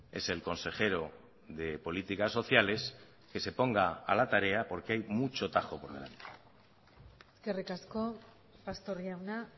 es el consejero de políticas sociales que se ponga a la tarea porque hay mucho tajo por delante eskerrik asko pastor jauna